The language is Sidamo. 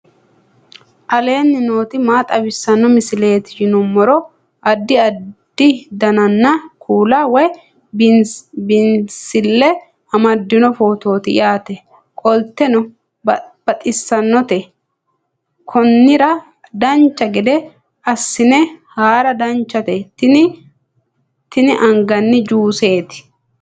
aleenni nooti maa xawisanno misileeti yinummoro addi addi dananna kuula woy biinsille amaddino footooti yaate qoltenno baxissannote konnira dancha gede assine haara danchate tini anganni juuseeti